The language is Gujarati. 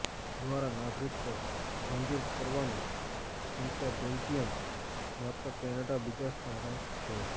દ્વારા નાગરિકત્વ મંજૂર કરવાની સંખ્યા બેલ્જીયમ માત્ર કેનેડા બીજા સ્થાને છે